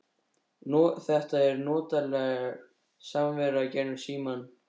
Þetta var notaleg samvera gegnum símann.